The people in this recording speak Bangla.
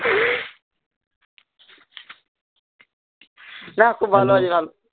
না খুব ভালো